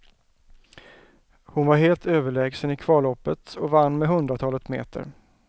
Hon var helt överlägsen i kvalloppet och vann med hundratalet meter.